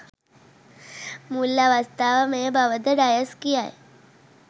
මුල් අවස්ථාව මෙය බව ද ඩයස් කියයි.